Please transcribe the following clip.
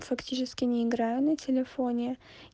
фактически не играю на телефоне